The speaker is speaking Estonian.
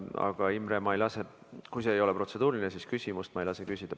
Aga, Imre, kui see ei ole protseduuriline, siis küsimust ma ei lase küsida.